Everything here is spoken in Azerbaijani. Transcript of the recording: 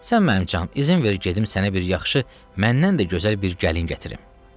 Sən mənim canım, izin ver gedim sənə bir yaxşı, məndən də gözəl bir gəlin gətirim.